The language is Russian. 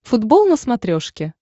футбол на смотрешке